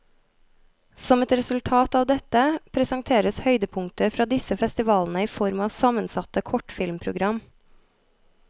Som et resultat av dette, presenteres høydepunkter fra disse festivalene i form av sammensatte kortfilmprogram.